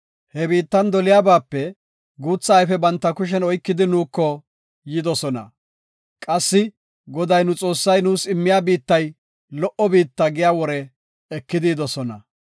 He biittan doliyabape guutha ayfe banta kushen oykidi nuuko yidosona. Qassi, “Goday nu Xoossay nuus immiya biittay lo77o biitta” giya wore ekidi yidosona.